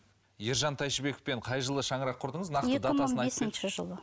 ержан тәйшібековпен қай жылы шаңырақ құрдыңыз